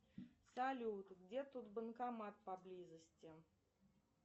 салют где тут банкомат поблизости